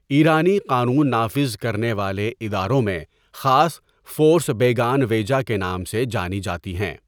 ایرانی قانون نافذ کرنیوالے اداروں میں خاص فورس ییگان ویجہ کے نام سے جانی جاتی ہیں.